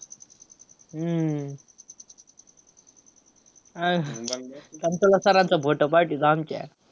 हम्म अह sir चा photo पाठवतो आमच्या.